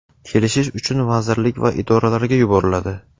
kelishish uchun vazirlik va idoralarga yuboriladi.